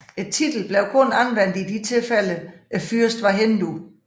Titlen blev kun anvendt i de tilfælde fyrsten var hindu